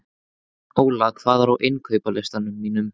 Óla, hvað er á innkaupalistanum mínum?